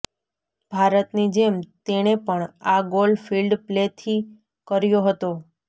ભારતની જેમ તેણે પણ આ ગોલ ફિલ્ડ પ્લેથી કર્યો હતો